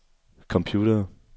computere